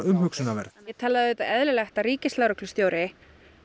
umhugsunarverð það er auðvitað eðlilegt að ríkislögreglustjóri